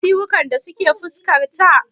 Ka ga ciwukan da suke fuskarta?